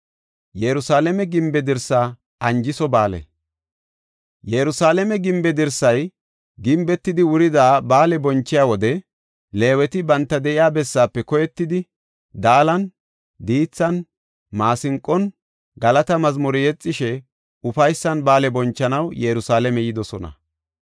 Yerusalaame gimbe dirsay gimbetidi wurida ba7aale bonchiya wode Leeweti banta de7iya bessaafe koyetidi, daalan, diithan, maasinqon, galata mazmure yexishe ufaysan ba7aale bonchanaw Yerusalaame yidosona.